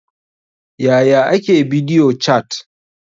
Yaya ake bidiyo cat?